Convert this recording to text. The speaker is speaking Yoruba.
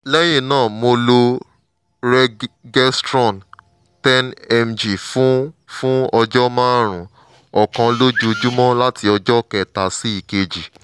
lẹ́yìn náà mo lo regestrone ten mg fún fún ọjọ́ márùn-ún ọ̀kan lójoojúmọ́ láti ọjọ́ kẹta sí ìkeje